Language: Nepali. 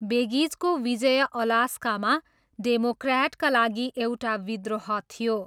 बेगिचको विजय अलास्कामा डेमोक्र्याटका लागि एउटा विद्रोह थियो।